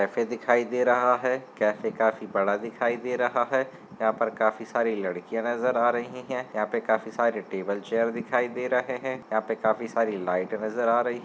दिखाई दे रहा है कैफे काफी बड़ा दिखाई दे रहा है। यहां पर काफी सारी लड़कियाँ नज़र आ रही हैं यहां पे काफी सारी टेबल चेयर दिखाई दे रहे हैं। यहां पे काफी सारी लाइट नज़र आ रही --